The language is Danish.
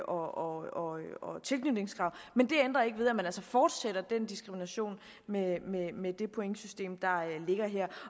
og tilknytningskrav men det ændrer ikke ved at man altså fortsætter den diskrimination med med det pointsystem der ligger her